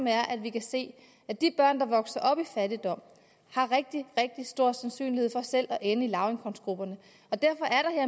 er at vi kan se at de børn der vokser op i fattigdom har rigtig rigtig stor sandsynlighed for selv at ende i lavindkomstgrupperne og derfor er